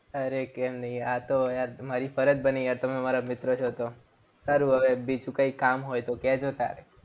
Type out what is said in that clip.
અરે કેમ નહીં? આ તો હવે મારી ફરજ બની યાર. તમે મારા મિત્ર છો તો. સારું હવે બીજું કંઈ કામ હોય તો કેજો તારે.